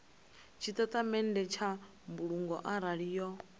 tshitatamennde tsha mbulungo arali yo